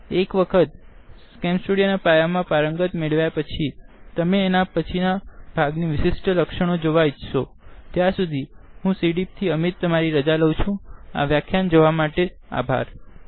એક વખત CamStudio પ્રકરણ મા પારંગત મેળવ્યા પછીથીતમે એના પછીના ભાગનિ વીશીષ્ઠતા જોવા ઇછ્સો ત્યાર સુધી હું સીડીઇઇપી iit બોમ્બે તરફથી ભાષાંતર કરનાર જ્યોતી સોલંકી વિદાય લઉં છું